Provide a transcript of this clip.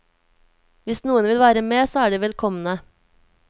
Hvis noen vil være med, så er de velkomne.